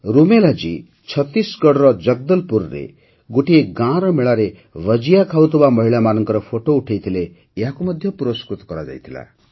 ରୁମେଲା ଜୀ ଛତିଶଗଡ଼ର ଜଗଦଲପୁରରେ ଗୋଟିଏ ଗାଁର ମେଳାରେ ଭଜିୟା ଖାଉଥିବା ମହିଳାମାନଙ୍କର ଫଟୋ ପଠାଇଥିଲେ ଏହାକୁ ମଧ୍ୟ ପୁରସ୍କୃତ କରାଯାଇଥିଲା